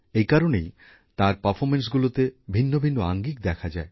এই কারণেই তাঁর পারফর্মেন্সগুলিতে ভিন্নভিন্ন আঙ্গিক দেখা যায়